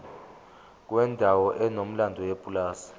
kwendawo enomlando yepulazi